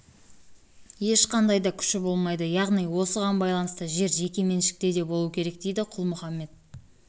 ешқандай да күші болмайды яғни осыған байланысты жер жеке меншікте де болуы керек дейді құл-мұхаммед